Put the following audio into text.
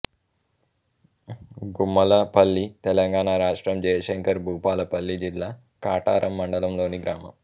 గుమ్మళ్ళపల్లి తెలంగాణ రాష్ట్రం జయశంకర్ భూపాలపల్లి జిల్లా కాటారం మండలంలోని గ్రామం